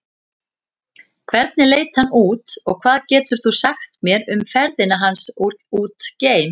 Hvernig leit hann út og hvað getur þú sagt mér um ferðina hans út geim?